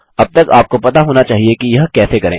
अब तक आपको पता होना चाहिए कि यह कैसे करें